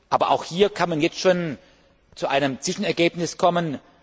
Aber auch hier kann man jetzt schon zu einem Zwischenergebnis kommen.